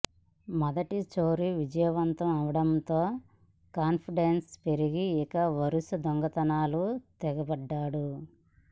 మొదటి చోరీ విజయవంతం అవడంతో కాన్ఫిడెన్స్ పెరిగి ఇక వరుస దొంగతనాలకు తెగబడ్డాడు